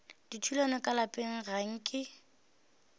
dithulano ka lapeng ga nke